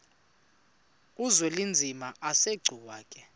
uzwelinzima asegcuwa ke